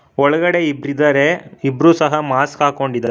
ಒಳಗಡೆ ಇಬ್ರಿದಾರೆ ಇಬ್ರು ಸಹ ಮಾಸ್ಕ್ ಹಾಕೊಂಡಿದಾ--